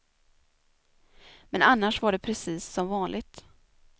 Men annars var det precis som vanligt.